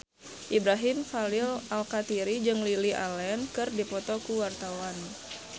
Ibrahim Khalil Alkatiri jeung Lily Allen keur dipoto ku wartawan